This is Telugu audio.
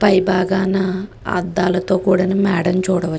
పై బాగాన అద్దాల తో కూడిన మెడని చూడ వ--